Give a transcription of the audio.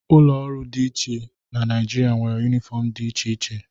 Ụlọ ọrụ dị iche Naịjirịa nwere yunifọmụ dị iche iche.